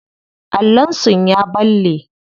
Allon sun ya balle.